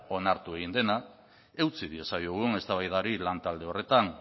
onartu egin dena eutsi diezaiogun eztabaidari lantalde horretan